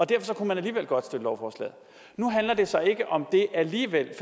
derfor kunne man alligevel godt støtte lovforslaget nu handler det så ikke om det alligevel